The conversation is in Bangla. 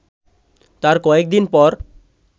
তার কয়েকদিন পর